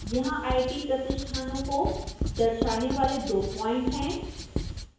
यहां आईटी प्रतिष्ठानों को दर्शाने वाले दो प्वाइंट हैं